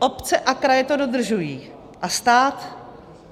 Obce a kraje to dodržují a stát?